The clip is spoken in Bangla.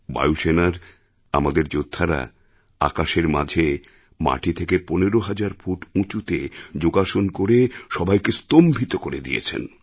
বায়ুসেনার আমাদের যোদ্ধারা আকাশের মাঝে মাটি থেকে ১৫ হাজার ফুট উঁচুতে যোগাসন করে সবাইকে স্তম্ভিতকরে দিয়েছেন